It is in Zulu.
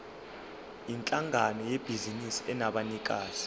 yinhlangano yebhizinisi enabanikazi